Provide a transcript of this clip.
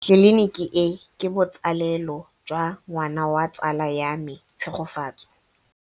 Tleliniki e, ke botsalêlô jwa ngwana wa tsala ya me Tshegofatso.